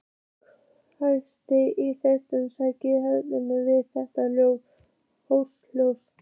Hjartað í Svenna slær örar við þetta hrós.